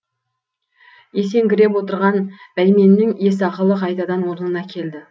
есеңгіреп отырған бәйменнің ес ақылы қайтадан орнына келді